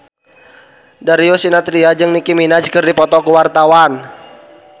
Darius Sinathrya jeung Nicky Minaj keur dipoto ku wartawan